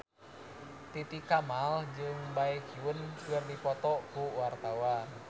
Titi Kamal jeung Baekhyun keur dipoto ku wartawan